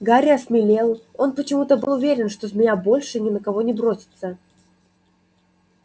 гарри осмелел он почему-то был уверен что змея больше ни на кого не бросится